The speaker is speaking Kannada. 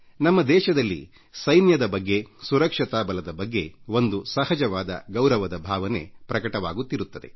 ನಮ್ಮ ದೇಶದಲ್ಲಿ ಸೈನ್ಯ ಮತ್ತು ಭದ್ರತಾ ಪಡೆಗಳ ಬಗ್ಗೆ ಒಂದು ಸಹಜವಾದ ಗೌರವದ ಭಾವನೆ ಇದೆ